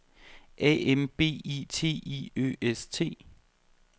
A M B I T I Ø S T